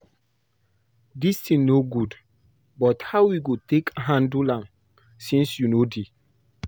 Dis thing no good, but how we go take handle am since you no dey